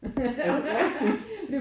Er det rigtigt?